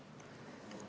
Asi seegi!